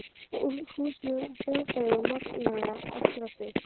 Húsnæði, öll hljóðfæri og magnara, allt draslið.